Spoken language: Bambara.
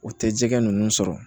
O tɛ jɛgɛ ninnu sɔrɔ